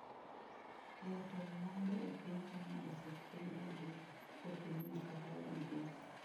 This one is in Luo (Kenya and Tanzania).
Keeto mwandu e piny China osekwedi gi jopinyno kaka migosi.